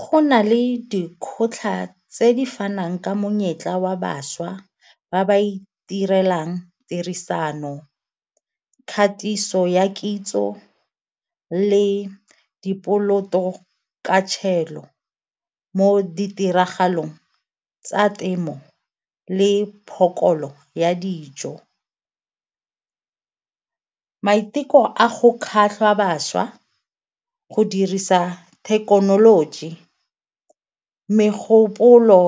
Go na le dikgotlha ka tse di fanang ka monyetla wa bašwa ba ba itirelang tirisano, kgatiso ya kitso le di poloto ka mo ditiragalong tsa temo le ya dijo. Maiteko a go kgatlha bašwa go dirisa thekenoloji, megopolo